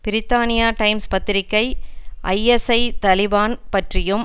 பிரித்தானிய டைம்ஸ் பத்திரிகை ஐஎஸ்ஐ தலிபான் பற்றியும்